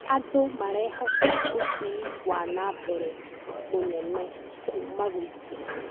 Andũ marehoka ũthii wa na mbere mũnene kuuma gwitũ.